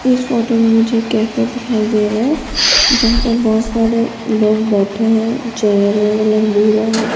इस फोटो में मुझे एक कैफे दिखाई दे रहा है जहां पर बहोत सारे लोग बैठे है चेयर का कलर भूरा है।